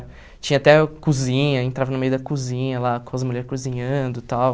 Tinha até cozinha, entrava no meio da cozinha lá, com as mulheres cozinhando e tal.